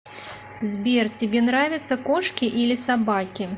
сбер тебе нравятся кошки или собаки